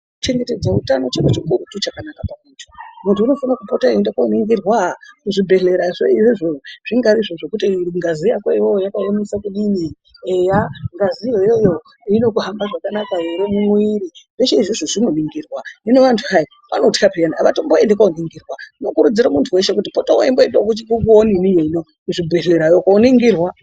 Kuchengeta utano chiro chikurutu chakanaka maningi. Muntu unofana kupota eienda koningirwa kuzvibhedhlerayo zvingaa zvekuti ngazi yako iwewe yakaemesa kudini eya ngaziyo iyoyo inohambisa zvakanaka ere mumwiri zveshe izvozvo zvinoningirwa. Hino vantu hai vanothwa peyani avatomboendi koningirwa. Ndokurudzira muntu weshe kuti pota weimboendawo kuzvibhedhlerayo koningirwa.